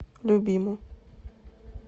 любиму